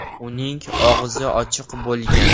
Uning og‘zi ochiq bo‘lgan.